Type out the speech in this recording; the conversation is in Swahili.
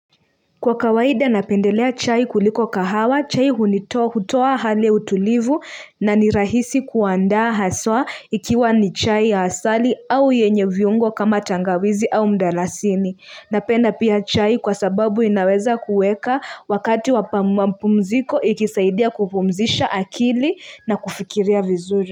Kwa kawaida napendelea chai kuliko kahawa, chai hunitoa hutoa hali ya utulivu na ni rahisi kuandaa haswa ikiwa ni chai ya asali au yenye viungo kama tangawizi au mdalasini. Napenda pia chai kwa sababu inaweza kuweka wakati wama pumziko ikisaidia kupumzisha akili na kufikiria vizuri.